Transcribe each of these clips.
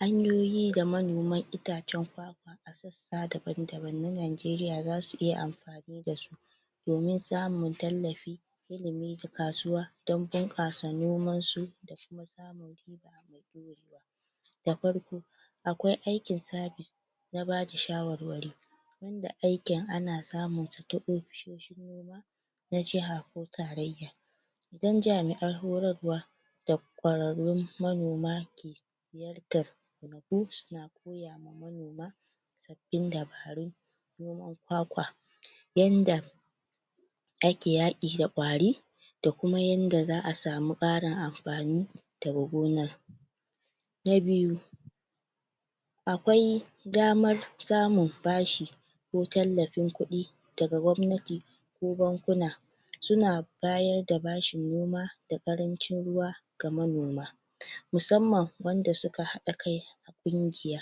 Hanyoyi da manoman ita cen kwakwa a sassa daban-daban na najeriya zasu iya amfani dasu domin samun tallafi ilimi da kasuwa don bunƙasa noman su da kuma samun riba mai dorewa da farko akwai aikin sabis na bada shawarwari wanda aikin ana samunsa ta ofisoshin noma na jiha ko tarayya don jami'an horarwa da kwararrun manoma ke ziyartar kauyaku suna koya wa manoma sabbin dabarun noman kwakwa yanda ake yaƙi da kwari da kuma yanda za'a sami ƙarin amfani daga gonar na biyu akwai damar samun bashi ko tallafin kuɗi daga gwabnati ko bankuna suna bayar da bashin noma ga ƙaranci ruwa ga manoma musamman wanda suka haɗa kai ƙungiya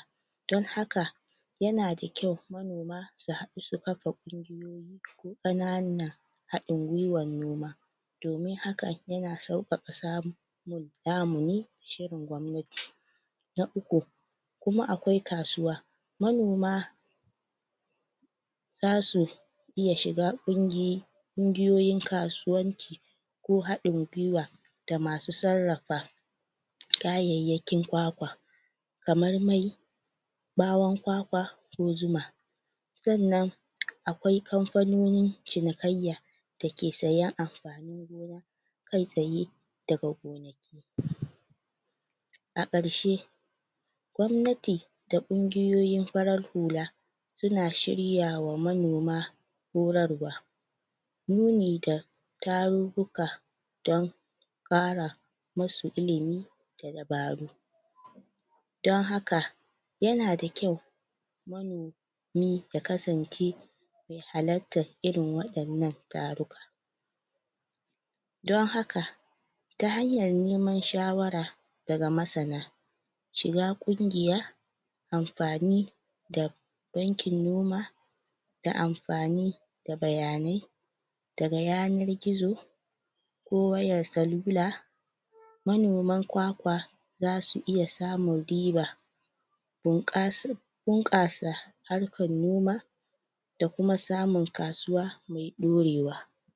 don haka yana da kyau manoma su haɗu su kafa ƙungiyoyi ko ƙana nan haɗin gwiwan noma domin hakan yana sauƙaƙa samun lamuni shirin gwabnati na uku kuma akwai kasuwa manoma zasu iya shiga ƙungi ƙungiyoyin kasuwanci ko haɗin gwiwa da masu sarrafa kayayyakin kwakwa kamar mai ɓawon kwakwa ko zuma sannan akwai kanfononin cinikayya dake siyan amfanin gona kai tsaye daga gonaki a ƙarshe gwabnati da ƙungiyoyin farar hula suna shiryawa manoma horarwa nuni da tarurruka don ƙara musu ilimi da dabaru don haka yana da kyau manomi ne ya kasance me halattar irin wa innan taro don haka ta hanyar neman shawara daga masana shiga ƙungiya amfani da bankin noma da amfani da bayanai daga yanar gizo ko wayar salula manoman kwakwa zasu iya samun riba bunkas.. bunƙasa harkan noma da kuma samun kasuwa mai ɗorewa